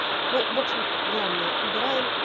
ну в общем главное убираем